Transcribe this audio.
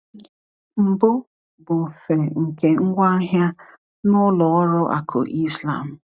Mbụ, bụ mfe nke ngwaahịa na ọrụ ụlọ akụ Islam.